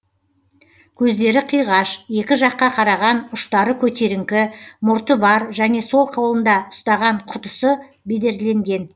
көздері қиғаш екі жаққа қараған ұштары көтеріңкі мұрты бар және сол қолында ұстаған құтысы бедерленген